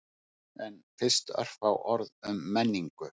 En fyrst örfá orð um menningu.